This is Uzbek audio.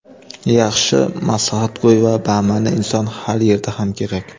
yaxshi maslahatgo‘y va bama’ni inson har yerda ham kerak.